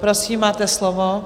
Prosím, máte slovo.